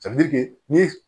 ni